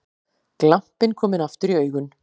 Glampinn kominn aftur í augun.